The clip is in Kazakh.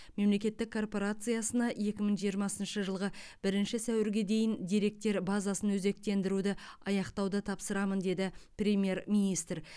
мемлекеттік корпорациясына екі мың жиырмасыншы жылғы бірінші сәуірге дейін деректер базасын өзектендіруді аяқтауды тапсырамын деді премьер министр